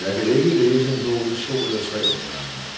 Jeg kan ikke læse en bog i to eller tre omgange.